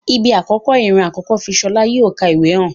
Ibi akọkọ, iran akọkọ fi Ṣọla yi o n ka ìwé hàn.